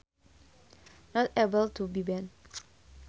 Not able to be bent